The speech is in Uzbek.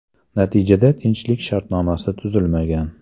Natijada tinchlik shartnomasi tuzilmagan.